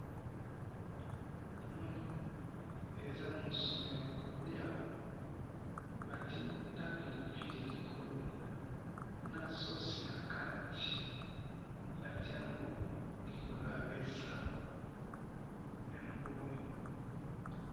namoni ezamosuni yakolia batie na pili pili likolo nasosi nakati batiango likolo yamesa yangoyo